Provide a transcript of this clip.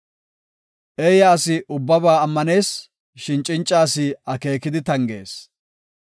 Eeya asi ubbaba ammanees; shin cinca asi akeekidi tangees.